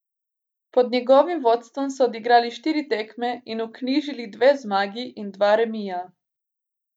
Pod njegovim vodstvom so odigrali štiri tekme in vknjižili dve zmagi in dva remija.